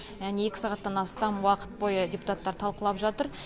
яғни екі сағаттан астам уақыт бойы депутаттар талқылап жатыр